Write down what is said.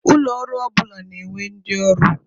Ụlọ ọrụ ọbụla na-enwe ndị ọrụ.